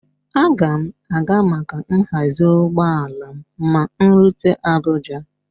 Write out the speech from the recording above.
Aga m a ga maka nhazi ụgbọala m ma m rute Abuja